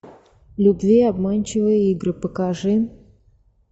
любви обманчивые игры покажи